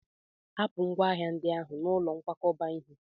Hapụ ngwa ahịa ndị ahụ n'ụlọ nkwakọba ihe!